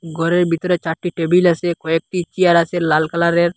গরের ভিতরে চারটি টেবিল আসে কয়েকটি চেয়ার আছে লাল কালারের।